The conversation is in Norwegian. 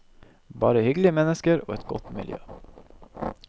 Bare hyggelige mennesker og et godt miljø.